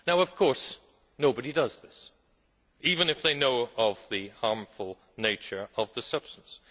Of course nobody does this, even if they know of the harmful nature of the substance.